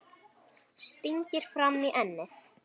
Stingir fram í ennið.